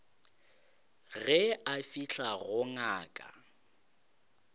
ge a fihla go ngaka